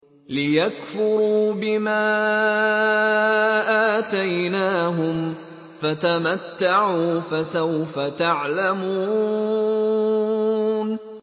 لِيَكْفُرُوا بِمَا آتَيْنَاهُمْ ۚ فَتَمَتَّعُوا فَسَوْفَ تَعْلَمُونَ